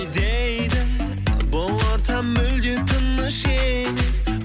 дейді бұл орта мүлде тыныш емес